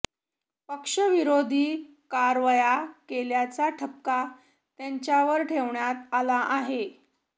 पक्षविरोधी कारवाया केल्याचा ठपका त्यांच्यावर ठेवण्यात आला आहे